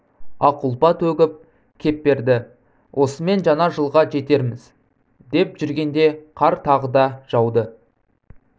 ақ ұлпа төгіп кеп берді осымен жаңа жылға жетерміз деп жүргенде қар тағы да жауды